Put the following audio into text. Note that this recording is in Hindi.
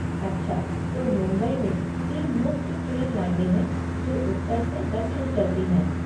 अच्छा, तो मुंबई में तीन मुख्य ट्रेन लाइनें है जो उत्तर से दक्षिण चलती हैं।